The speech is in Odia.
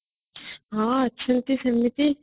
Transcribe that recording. ହଁ ଅଛନ୍ତି ସେମିତି